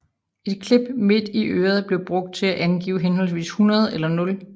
Et klip midt i øret blev brugt til at angive henholdsvis 100 eller 0